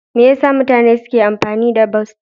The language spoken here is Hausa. Me yasa mutane suke amfani da bas?